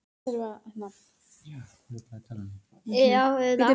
Þú settir upp svoleiðis pókerfeis en stóðst á tánum af æsingi.